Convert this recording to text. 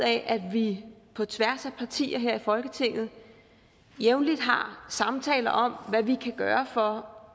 af at vi på tværs af partierne her i folketinget jævnligt har samtaler om hvad vi kan gøre for